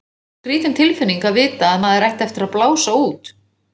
Skrýtin tilfinning að vita að maður ætti eftir að blása út.